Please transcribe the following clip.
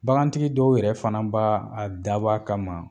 Bagantigi dɔw yɛrɛ fana b"a dab'a kama